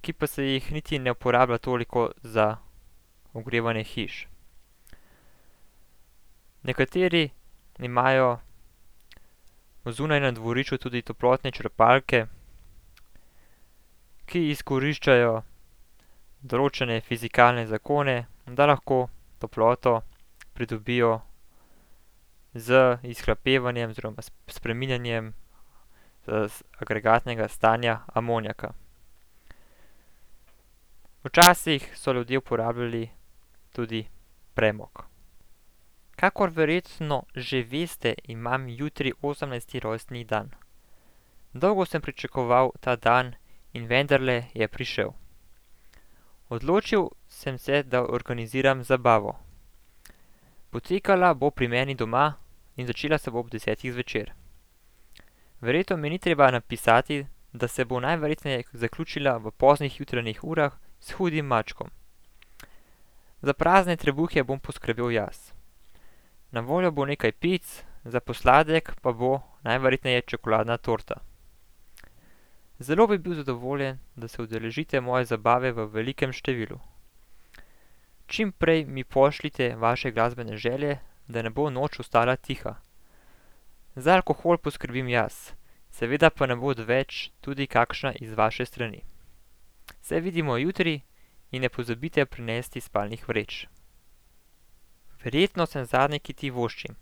ki pa se jih niti ne uporablja toliko za ogrevanje hiš. Nekateri imajo zunaj na dvorišču tudi toplotne črpalke, ki izkoriščajo določene fizikalne zakone, da lahko toploto pridobijo z izhlapevanjem oziroma s spreminjanjem, agregatnega stanja amonijaka. Včasih so ljudje uporabljali tudi premog. Kakor verjetno že veste, imam jutri osemnajsti rojstni dan. Dolgo sem pričakoval ta dan in vendarle je prišel. Odločil sem se, da organiziram zabavo. Potekala bo pri meni doma in začela se bo ob desetih zvečer. Verjetno mi ni treba napisati, da se bo najverjetneje zaključila v poznih jutranjih urah s hudim mačkom. Za prazne trebuhe bom poskrbel jaz. Na voljo bo nekaj pic, za posladek pa bo najverjetneje čokoladna torta. Zelo bi bil zadovoljen, da se udeležite moje zabave v velikem številu. Čim prej mi pošljite vaše glasbene želje, da ne bo noč ostala tiha. Za alkohol poskrbim jaz. Seveda pa ne bo odveč tudi kakšna iz vaše strani. Se vidimo jutri in ne pozabite prinesti spalnih vreč. Verjetno sem zadnji, ki ti voščim.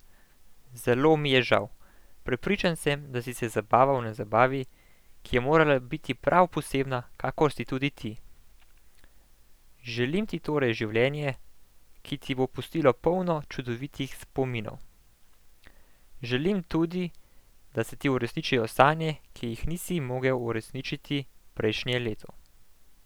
Zelo mi je žal. Prepričan sem, da si se zabaval na zabavi, ki je morala biti prav posebna, kakor si tudi ti. Želim ti torej življenje, ki ti bo pustilo polno čudovitih spominov. Želim tudi, da se ti uresničijo sanje, ki jih nisi mogel uresničiti prejšnje leto.